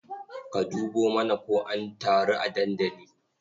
Ka dubo mana ko an taru a dandali.